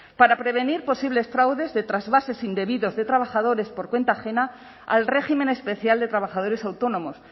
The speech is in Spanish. para prevenir posibles fraudes de trasvases indebidos de trabajadores por cuenta ajena al régimen especial de trabajadores autónomos